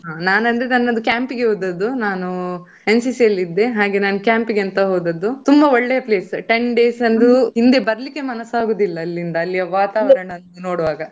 ನಾನ್ ಅಂದ್ರೆ ನನ್ನದು camp ಗೆ ಹೋದದ್ದು. ನಾನು NCC ಅಲ್ಲಿ ಇದ್ದೆ ಹಾಗೆ ನಾನ್ camp ಗೆ ಅಂತ ಹೋದದ್ದು ತುಂಬಾ ಒಳ್ಳೆ place ten days ಅದು ಹಿಂದೆ ಬರ್ಲಿಕ್ಕೆ ಮನಸ್ ಆಗುದಿಲ್ಲ ಅಲ್ಲಿಯ ವಾತಾವರಣ ನೋಡ್ವಾಗ.